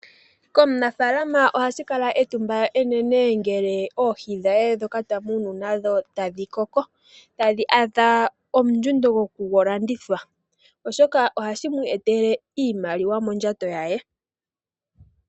Ohashi eta etumba kaaniimuna mboka taya munu oohi ngele tadhi koko osho wo oku indjipala momwaalu. Oohi ohadhi vulu okulandithwa kaakwashigwana, shoka hashi gandja iimaliwa.